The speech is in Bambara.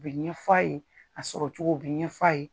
U bɛ ɲɛ f'a ye, a sɔrɔ cogo, u bɛ ɲɛ f'a ye.